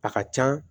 A ka can